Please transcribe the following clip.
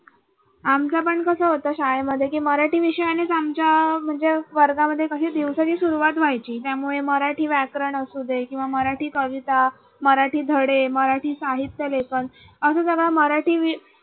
आमच्या पण कस होत शाळेमध्ये की मराठी विषयाने आमच्या म्हणजे अह वर्गामध्ये काही दिवसाची दिवसाची सुरुवात व्हायची. त्यामुळे मराठी व्याकरण असू दे किंवा मराठी कविता मराठी धडे मराठी साहित्य लेखन असं सगळं मराठी